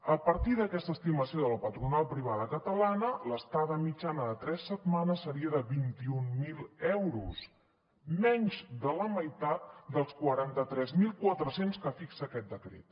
a partir d’aquesta estimació de la patronal privada catalana l’estada mitjana de tres setmanes seria de vint mil euros menys de la meitat dels quaranta tres mil quatre cents que fixa aquest decret